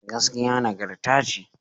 Gaskiya nagarta ce..